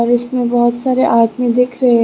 इसमें बहोत सारे आदमी दिख रहे--